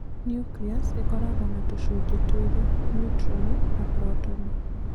Nucleus ĩkoragwo na tũcunjĩ twĩrĩ - neutroni na protoni.